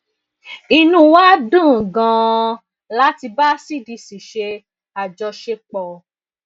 inú wa dùn ganan láti bá cdc ṣe àjọṣepọ